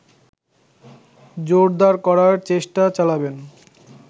জোরদার করার চেষ্টা চালাবেন